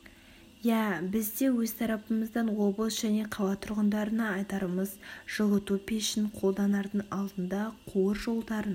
иә біз де өз тарапымыздан облыс және қала тұрғындарына айтарымыз жылыту пешін қолданардың алдында қуыр жолдарын